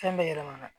Fɛn bɛ yɛlɛma